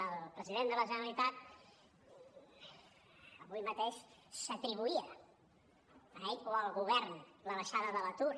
el president de la generalitat avui mateix s’atribuïa a ell o al govern la baixada de l’atur